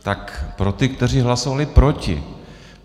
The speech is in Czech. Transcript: Tak pro ty, kteří hlasovali proti.